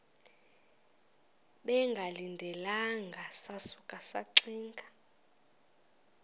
bengalindelanga sasuka saxinga